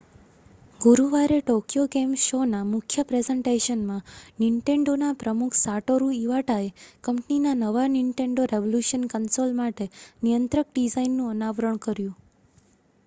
ગુરુવારે Tokyo game શોના મુખ્ય પ્રેઝન્ટેશનમાં નિન્ટેન્ડોના પ્રમુખ સાટોરુ ઇવાટાએ કંપનીના નવા નિન્ટેન્ડો રેવલૂશન કન્સોલ માટે નિયંત્રક ડિઝાઇનનું અનાવરણ કર્યું